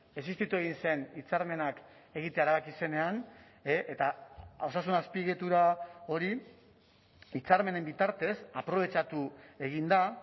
existitu egin zen hitzarmenak egitea erabaki zenean eta osasun azpiegitura hori hitzarmenen bitartez aprobetxatu egin da